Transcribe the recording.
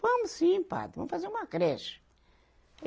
Vamos sim, padre, vamos fazer uma creche. e